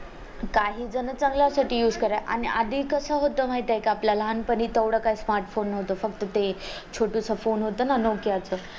काही जण चांगल्या साठी used करा आणि आधी कस होतंय माहित आहे काआपल्याला लहानपणी तेवढं काही smartphone होत फ़क्त ते छोटूस phone होतंय ना ते nokia च